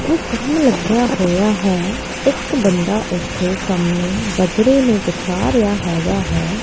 ਕੰਮ ਲੱਗਿਆ ਹੋਇਆ ਹੈ ਇੱਕ ਬੰਦਾ ਇੱਥੇ ਸਾਹਮਣੇ ਬਜਰੀ ਨੂੰ ਬਿਛਾ ਰਿਹਾ ਹੈਗਾ ਹੈ।